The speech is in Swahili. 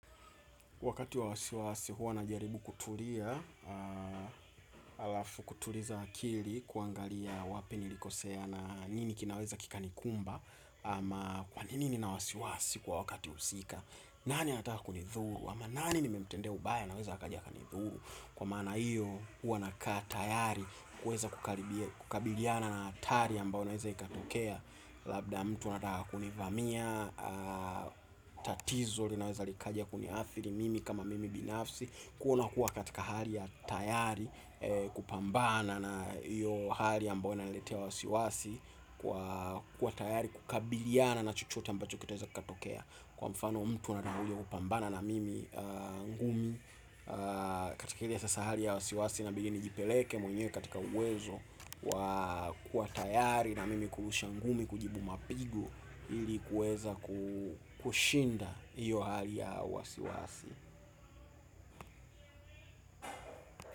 Wakati wa wasiwasi huwa najaribu kutulia, halafu kutuliza akili kuangalia wapi nilikosea na nini kinaweza kikanikumba ama kwa nini nina wasiwasi kwa wakati husika, nani anataka kunithuru, ama nani nimemtendea ubaya naweza akaja akanithuru kwa maana hiyo huwa na kaa tayari kuweza kukabiliana na hatari ambao unaoweza ikatokea. Labda mtu anataka kunivamia, tatizo linaweza likaja kuniathiri mimi kama mimi binafsi kuona kuwa katika hali ya tayari kupambana na hiyo hali ambao inaniletea wasiwasi kwa kuwa tayari kukabiliana na chochote ambacho kitaweza kikatokea. Kwa mfano mtu atakapokuja kupambana na mimi ngumi. Katika ile sasa hali ya wasiwasi na pengi nijipeleke mwenyewe katika uwezo wa kuwa tayari na mimi kurusha ngumi kujibu mapigo ili kuweza kushinda hiyo hali ya wasiwasi.